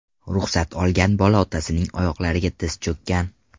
Ruxsat olgan bola otasining oyoqlariga tiz cho‘kkan.